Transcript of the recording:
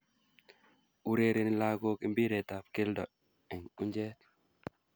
Urereni lagook impiretab keldo eng unjeet.